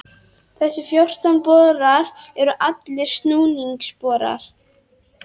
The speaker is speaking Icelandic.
Þessir fjórtán borar eru allir snúningsborar.